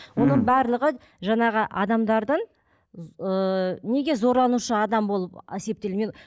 оның барлығы жаңағы адамдардың ыыы неге зорланушы адам болып есептелмейді